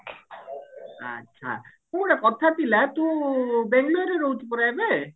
ଆଛା ଶୁଣେ କଥା ଥିଲା ତୁ ବେଙ୍ଗେଲୋର ରେ ରହୁଛୁ ପରା ଏବେ